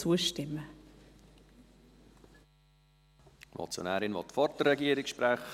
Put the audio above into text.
Die Motionärin will vor der Regierungsrätin sprechen.